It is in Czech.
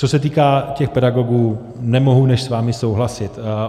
Co se týká těch pedagogů, nemohu než s vámi souhlasit.